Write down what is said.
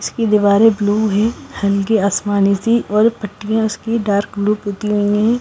इसकी दीवारें ब्लू है हल्की आसमानी सी और पट्टियां उसकी डार्क ब्लू होती है।